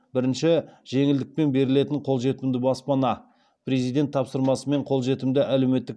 бірінші жеңілдікпен берілетін қолжетімді баспана президент тапсырмасымен қолжетімді әлеуметтік